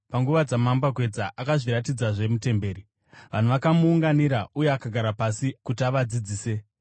Panguva dzamambakwedza akazviratidzazve mutemberi, vanhu vakamuunganira, uye akagara pasi kuti avadzidzise.